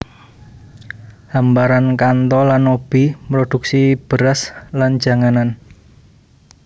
Hamparan Kanto lan Nobi mroduksi beras lan janganan